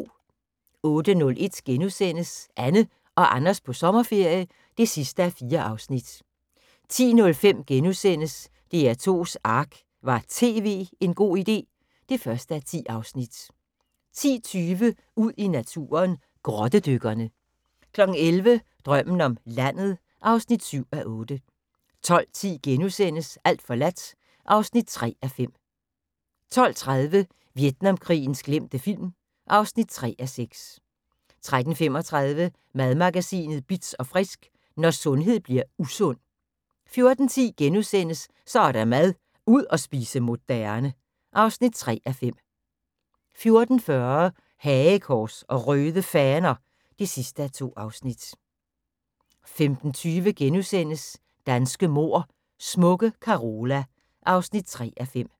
08:01: Anne og Anders på sommerferie (4:4)* 10:05: DR2's ARK – Var TV en god idé? (1:10)* 10:20: Ud i naturen: Grottedykkerne 11:00: Drømmen om landet (7:8) 12:10: Alt forladt (3:5)* 12:30: Vietnamkrigens glemte film (3:6) 13:35: Madmagasinet Bitz & Frisk: Når sundhed bliver usund 14:10: Så er der mad - ud at spise moderne (3:5)* 14:40: Hagekors og Røde Faner (2:2) 15:20: Danske mord: Smukke Carola (3:5)*